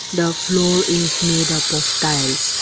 The floor is made up of tiles.